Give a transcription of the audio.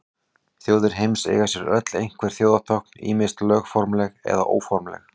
Þjóðir heims eiga sér öll einhver þjóðartákn, ýmist lögformleg eða óformleg.